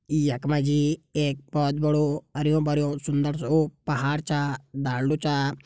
यख मा जी एक बहोत बड़ू हरियों भरियों सुन्दर सु पहाड़ छा डालदो छा।